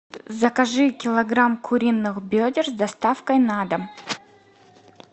закажи килограмм куриных бедер с доставкой на дом